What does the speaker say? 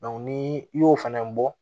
ni i y'o fana bɔ